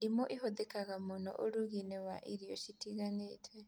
Ndimũ ĩhũthĩkaga mũno ũrugi-inĩ wa irio citiganĩte